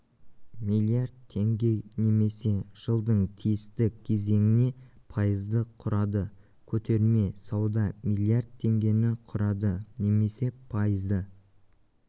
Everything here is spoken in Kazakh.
миллиард теңге немесе жылдың тиісті кезеңіне пайызды құрады көтерме сауда миллиард теңгені құрады немесе пайызды